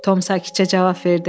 Tom sakitcə cavab verdi.